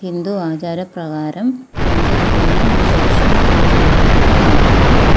ഹിന്ദു ആചാര പ്രകാരം ആചരിക്കുന്ന ഒരു ലക്ഷ്മി പൂജയുടെ ചിത്രമാണിത്.